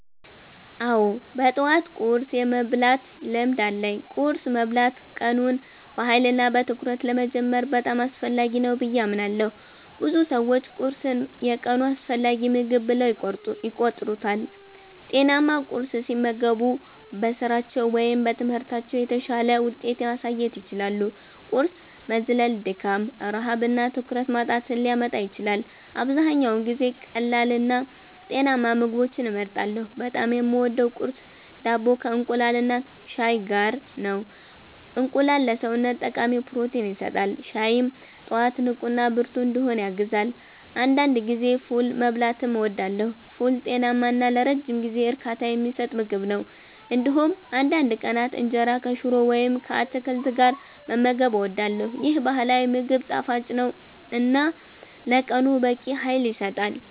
አዎ፣ በጠዋት ቁርስ የመብላት ልምድ አለኝ። ቁርስ መብላት ቀኑን በኃይልና በትኩረት ለመጀመር በጣም አስፈላጊ ነው ብዬ አምናለሁ። ብዙ ሰዎች ቁርስን የቀኑ አስፈላጊ ምግብ ብለው ይቆጥሩታል። ጤናማ ቁርስ ሲመገቡ በስራቸው ወይም በትምህርታቸው የተሻለ ውጤት ማሳየት ይችላሉ። ቁርስ መዝለል ድካም፣ ረሃብ እና ትኩረት ማጣትን ሊያመጣ ይችላል። አብዛኛውን ጊዜ ቀላልና ጤናማ ምግቦችን እመርጣለሁ። በጣም የምወደው ቁርስ ዳቦ ከእንቁላልና ሻይ ጋር ነው። እንቁላል ለሰውነት ጠቃሚ ፕሮቲን ይሰጣል፣ ሻይም ጠዋት ንቁና ብርቱ እንድሆን ያግዛል። አንዳንድ ጊዜ ፉል መብላትም እወዳለሁ። ፉል ጤናማ እና ለረጅም ጊዜ እርካታ የሚሰጥ ምግብ ነው። እንዲሁም አንዳንድ ቀናት እንጀራ ከሽሮ ወይም ከአትክልት ጋር መመገብ እወዳለሁ። ይህ ባህላዊ ምግብ ጣፋጭ ነው እና ለቀኑ በቂ ኃይል ይሰጣል።